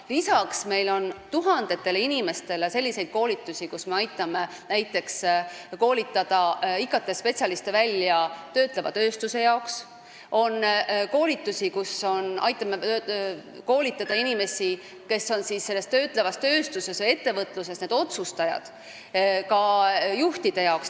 Lisaks tehakse meil tuhandetele inimestele selliseid koolitusi, et aidatakse koolitada IT-spetsialiste töötleva tööstuse jaoks, on koolitusi, kus aidatakse koolitada töötleva tööstuse või ettevõtluse otsustajaid, ka juhte.